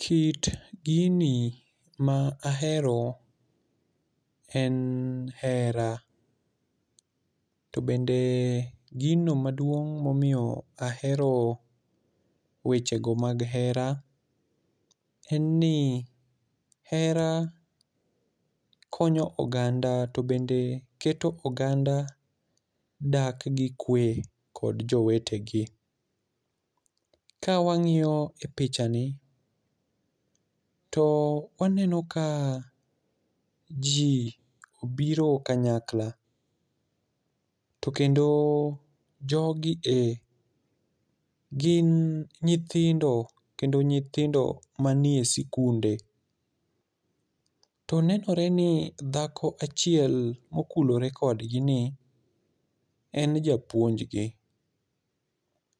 Kit gini ma ahero en hera. To bende gino maduong' ma omiyo ahero wechego mag hera, en ni hera konyo oganda to bende keto oganda dak gi kwe kod jowetegi. Ka wang'iyo e pichani to waneno ka ji obiro kanyakla. To kendo jogi e gin nyithindo kendo nyithindo manie sikunde. To nenore ni dhako achiel ma okulore kodgi ni en japuonj gi.